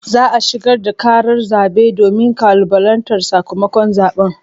Za a shigar da karar zabe domin kalubalantar sakamakon zaben.